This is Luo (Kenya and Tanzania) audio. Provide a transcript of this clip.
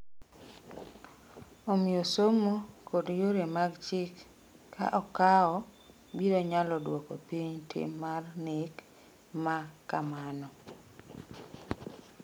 Omiyo somo kod yore mag chik ka okawo biro nyalo dwoko piny tim mar nek ma kamano.